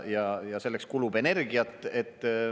Ja selleks kulub energiat.